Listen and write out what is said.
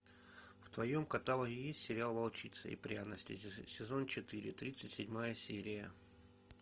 в твоем каталоге есть сериал волчица и пряности сезон четыре тридцать седьмая серия